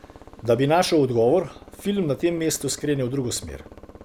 Da bi našel odgovor, film na tem mestu skrene v drugo smer.